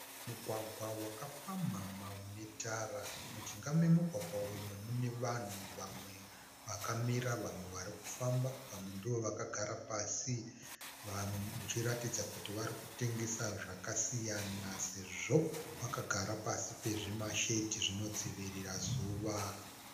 Mugwagwa wakapamhama unetara. Mujinga memugwagwa umu mune vanhu vamwe vakamira vamwe varikufamba. Vamwe ndivo vakagara pasi vachiratidza kuti varikutengesa zvakasiyana sezvo vakagara pasi pezvimashedhi zvinodzivirira zuva.